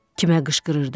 Kimə qışqırırdı?